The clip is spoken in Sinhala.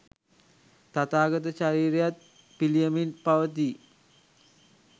තථාගත ශරීරයත් පිළියමින් පවතියි.